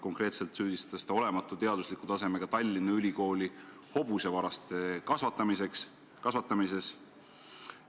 Konkreetselt süüdistas ta olematu teadusliku tasemega Tallinna Ülikooli hobusevaraste kasvatamises.